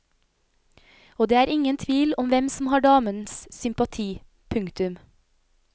Og det er ingen tvil om hvem som har damens sympati. punktum